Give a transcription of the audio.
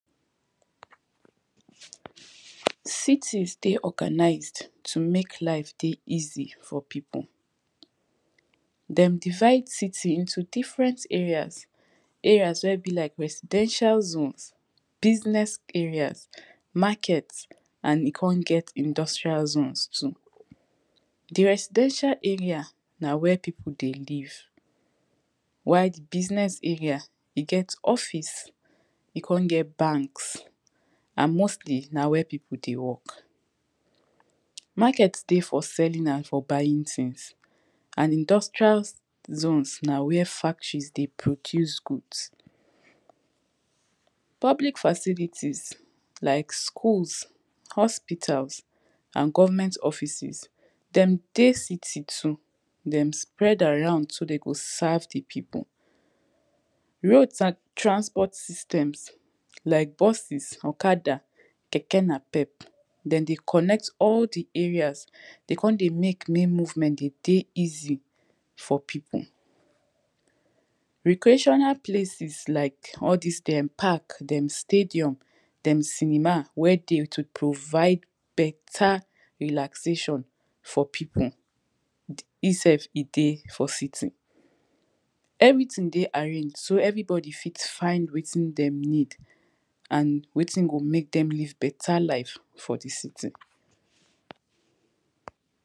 cities dey organized to make life dey easy for peple them divid cities into diffrent areas areas wey be like residential zone business areas market e come get industrial zones too the residentila areas na wey people dey live while business areas e get office e come get banks an mostly where people dey work Market dey selling and for buying things an industrial zones na where factories dey produce goods public facilities like schools hospitals govenment offices them dey city too dem spred around so dey go serve pipul roads an transport system like buses okada keke na pep dem dey connect the areas dey come dey make make movement de de easy for people recreational places like all the dem park dem stadium dem cenima wey dey to provide better relaxation for people himself e dey for city everything dey aranged so everybody fit faind wetin dem need and wetin go make them live better life for the city